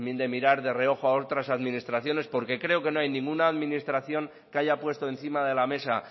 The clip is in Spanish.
mirar de reojo a otras administraciones porque creo que no hay ninguna administración que haya puesto encima de la mesa